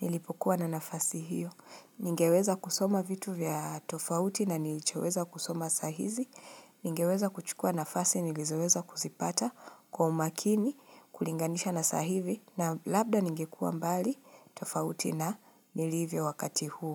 nilipokuwa na nafasi hiyo. Ningeweza kusoma vitu vya tofauti na nilichoweza kusoma saa hizi, ningeweza kuchukua nafasi nilizoweza kuzipata kwa umakini kulinganisha na saa hivi na labda ningekuwa mbali tofauti na nilivyo wakati huu.